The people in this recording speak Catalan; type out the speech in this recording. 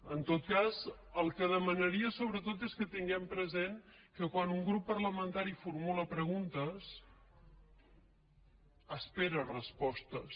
en tot cas el que demanaria sobretot és que tinguem present que quan un grup parlamentari formula preguntes espera respostes